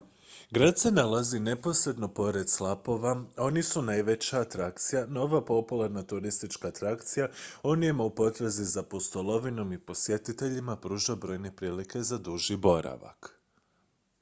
grad se nalazi neposredno pored slapova a oni su najveća atrakcija no ova popularna turistička atrakcija onima u potrazi za pustolovinom i posjetiteljima pruža brojne prilike za duži boravak